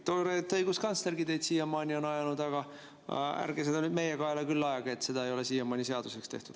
Tore, et õiguskantslergi teid siia on ajanud, aga ärge seda meie kaela küll ajage, et seda ei ole siiamaani seaduseks tehtud.